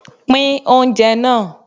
Pín oúnjẹ náà